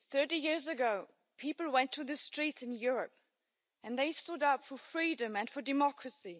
Mr President, 30 years ago people took to the streets in Europe and they stood up for freedom and for democracy.